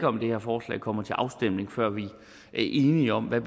om det her forslag kommer til afstemning før vi er enige om hvad